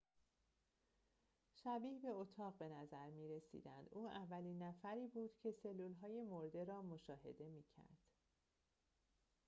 شبیه به اتاق به نظر می‌رسیدند او اولین نفری بود که سلولهای مرده را مشاهده می‌کرد